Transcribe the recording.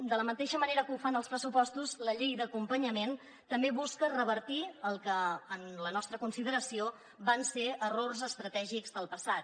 de la mateixa manera que ho fan els pressupostos la llei d’acompanyament també busca revertir el que en la nostra consideració van ser errors estratègics del passat